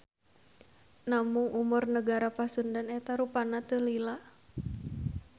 Namung umur Negara Pasundan eta rupana teu lila.